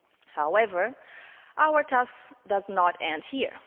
However, our task does not end here.